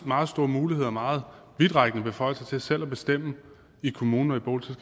meget store muligheder og meget vidtrækkende beføjelser til selv at bestemme i kommuner og